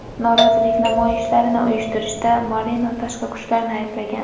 Norozilik namoyishlarini uyushtirishda Moreno tashqi kuchlarni ayblagan.